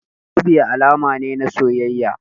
Zobe alama ne na soyayya.